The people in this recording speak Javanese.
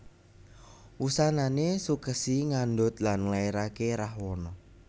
Wusanané Sukèsi ngandhut lan nglairaké Rahwana